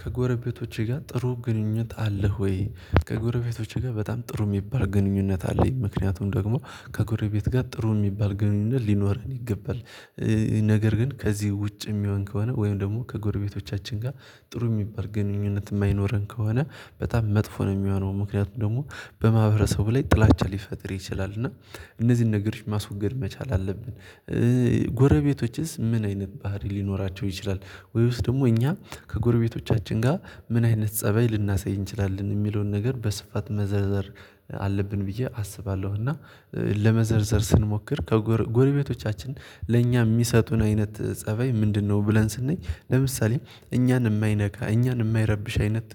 ከጎረቤቶቼ ጋር ጥሩ ግንኙነት አለህ ወይ ከጎረቤቶቼ ጋር በጣም ጥሩ የሚባል ግንኙነት አለኝ ምክንያቱም ደግሞ ከጎረቤት ጋር ጥሩ የሚባል ግንኙነት ሊኖረን ይገባል ነገር ግን ከዚህ ውጭ የሚሆን ከሆነ ወይም ደግሞ ከጎረቤቶቻችን ጋር ጥሩ የሚባል ግንኙነት የማይኖረን ከሆነ በጣም መጥፎ ነው የሚሆነው ምክንያቱም ደግሞ በማህበረሰቡ ላይ ጥላቻ ሊፈጥር ይችላል እና እነዚህን ነገሮች ማስወገድ መቻል አለብን ጎረቤቶችስ ምን አይነት ባህሪ ሊኖራቸው ይችላል ወይስ ደግሞ እኛ ከጎረቤቶቻችን ጋር ምን አይነት ፀባይ ልናሳይ እንችላለን የሚለውን ነገር በስፋት መዘርዘር አለብን ብዬ አስባለሁ እና ለመዘርዘር ስንሞክር ከጎር ጎረቤቶቻችን ለእኛ የሚሰጡን አይነት ፀባይ ምንድነው ብለን ስንኝ ለምሳሌ እኛን የማይነካ እኛን የማይረብሽ አይነት